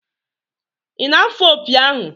Ị na-afụ opi ahụ?